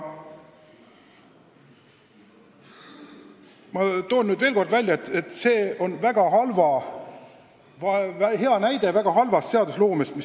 Ma toon veel kord välja, et see, mis nüüd siin on toimunud, on hea näide väga halvast seadusloomest.